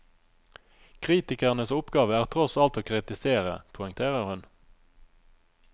Kritikernes oppgave er tross alt å kritisere, poengterer hun.